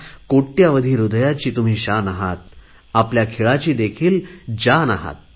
कोटयावधी हृदयाची तुम्ही शान आहात आपल्या खेळाची देखील जान आहात